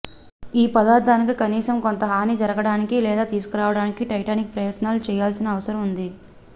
ఈ పదార్ధానికి కనీసం కొంత హాని జరగడానికి లేదా తీసుకురావడానికి టైటానిక్ ప్రయత్నాలను చేయాల్సిన అవసరం ఉంది